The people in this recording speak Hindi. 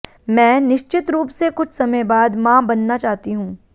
मैं निश्चित रूप से कुछ समय बाद मां बनना चाहती हूं